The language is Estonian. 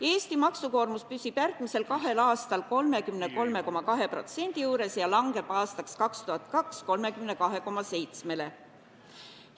Eesti maksukoormus püsib järgmisel kahel aastal 33,2% juures ja langeb 2022. aastaks 32,7%-le.